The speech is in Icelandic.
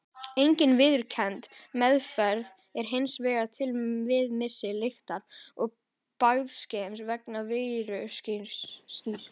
Engin viðurkennd meðferð er hins vegar til við missi lyktar- og bragðskyns vegna veirusýkingar.